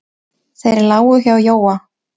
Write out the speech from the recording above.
Þeir lágu hjá Jóa.